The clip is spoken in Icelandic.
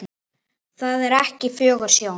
Það er ekki fögur sjón.